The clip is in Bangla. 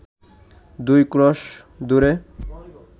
দুই ক্রোশ দূরে